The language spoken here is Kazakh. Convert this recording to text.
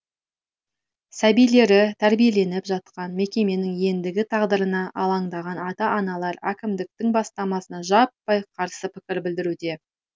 сәбилері тәрбиеленіп жатқан мекеменің ендігі тағдырына алаңдаған ата аналар әкімдіктің бастамасына жаппай қарсы пікір білдіруде